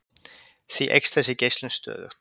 Því eykst þessi geislun stöðugt.